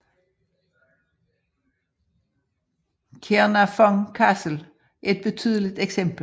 Caernarfon Castle er et betydeligt eksempel